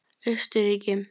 Austurríki